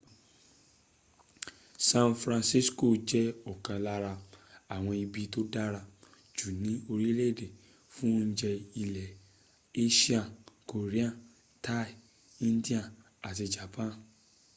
san francisco jẹ́ ọ̀kan lára àwọn ibi tó dára jù ní orílẹ̀èdè fún oúnjẹ ilẹ asia korean thai indian àti japan